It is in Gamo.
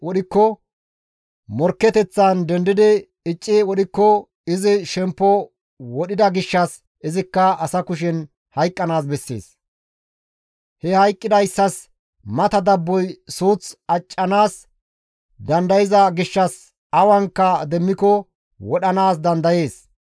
wodhikko morkketeththan dendidi icci wodhikko izi shemppo wodhida gishshas izikka asa kushen hayqqanaas bessees; he hayqqidayssas mata dabboy suuth accanaas dandayza gishshas awanka demmiko wodhanaas dandayees.